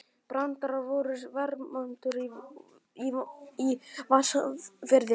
Brandur sonur Vermundar í Vatnsfirði.